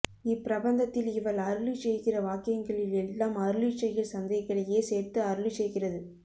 இப் பிரபந்தத்தில் இவள் அருளிச் செய்கிற வாக்யங்களில் எல்லாம் அருளிச் செயல் சந்தைகளையே சேர்த்து அருளிச் செய்கிறது